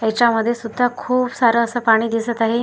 याच्यामध्ये सुद्धा खूप सारं असं पाणी दिसत आहे.